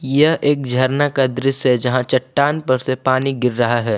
यह एक झरना का दृश्य है जहां चट्टान पर से पानी गिर रहा है।